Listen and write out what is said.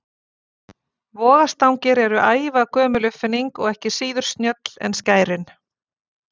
Vogarstangir eru ævagömul uppfinning og ekki síður snjöll en skærin.